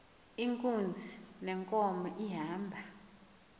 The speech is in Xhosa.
inkunzi yenkomo ihamba